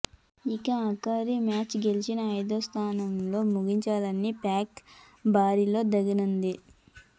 ఇక ఆఖరి మ్యాచ్ గెలిచి ఐదో స్థానంతో ము గించాలని పాక్ బరిలో దిగనుంది